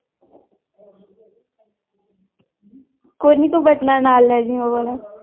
ਕੋਈ ਨੀ ਤੂੰ ਵਟਣਾ ਨਾਲ ਲੈ ਜਾਈਂ ਉਹ ਵਾਲਾ।